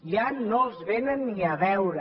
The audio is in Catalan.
ja no els vénen ni a veure